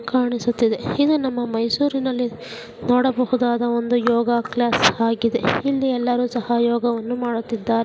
ಕಾಣಿಸುತ್ತಿದೆ ಇದು ನಮ್ಮ ಮೈಸೂರಿನಲ್ಲಿ ನೋಡಬಹುದಾದ ಒಂದು ಯೋಗ ಕ್ಲಾಸ್ ಆಗಿದೆ ಇಲ್ಲಿ ಎಲ್ಲರೂ ಸಹ ಯೋಗವನ್ನು ಮಾಡುತ್ತಿದ್ದಾರೆ .